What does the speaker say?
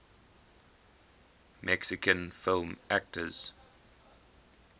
mexican film actors